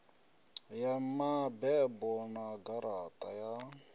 ya mabebo na garaṱa ya